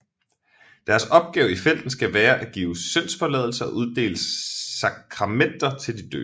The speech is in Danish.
Deres opgave i felten skal være at give syndsforladelse og uddele sakramenter til de døende